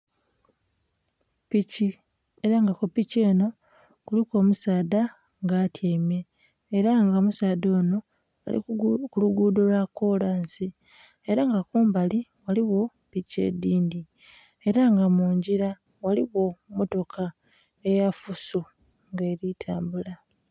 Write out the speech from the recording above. Piki, ela nga ku piki enho kiliku omusaadhd nga atyaime, ela nga omusaadha onho ali ku luguudho lwa koolansi ela nga kumabili ghaligho piki edhindhi, ela nga mungila ghaligho motoka eya fuso nga eli tambula.